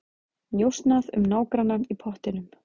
Njósnað um nágrannann í pottinum